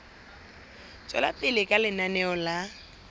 tswela pele ka lenaneo la